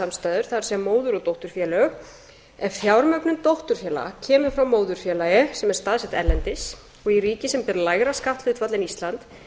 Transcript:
félagasamstæður það er móður og dótturfélög ef fjármögnun dótturfélaga kemur frá móðurfélagi sem er staðsett erlendis og í ríki sem ber lægra skatthlutfall en ísland